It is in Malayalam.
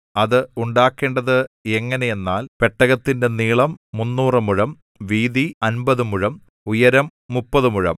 അത് ഉണ്ടാക്കേണ്ടത് എങ്ങനെ എന്നാൽ പെട്ടകത്തിന്റെ നീളം മുന്നൂറ് മുഴം വീതി അമ്പത് മുഴം ഉയരം മുപ്പത് മുഴം